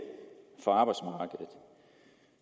på arbejdsmarkedet